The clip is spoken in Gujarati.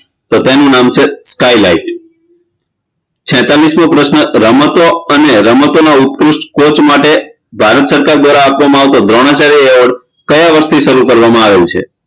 તો તેનું નામ છે sky light છેતારિશમો પ્રશ્ન રમતો અને રામતોના ઉત્કૃષ્ટ કોચ માટે ભારત સરકાર દ્વારા આપવામાં આવતો દ્રોણાચાર્ય award કયા વર્ષથી શરૂ કરવામાં આવેલ છે